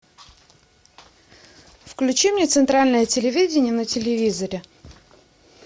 включи мне центральное телевидение на телевизоре